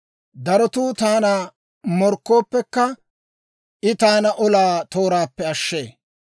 Darotuu taana morkkooppekka, I taana olaa tooraappe ashshee.